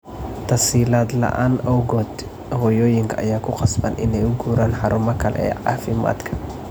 Tasiilaad la'aanta awgeed, hooyooyinka ayaa ku qasban inay u guuraan xarumaha kale ee caafimaadka.